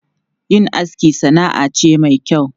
Yin aski sana'a ce mai kyau.